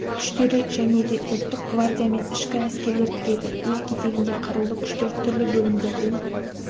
күштері және де ұлттық гвардия мен ішкі әскерлер кіреді өз кезегінде қарулы күштер түрлі бөлімдерден